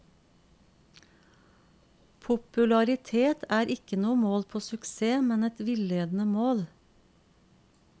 Popularitet er ikke noe mål på suksess, men et villedende mål.